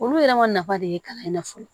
Olu yɛrɛ ma nafa de ye kalan in na fɔlɔ